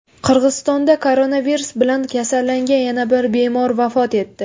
Qirg‘izistonda koronavirus bilan kasallangan yana bir bemor vafot etdi.